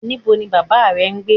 Nibo ni baba rẹ n gbe?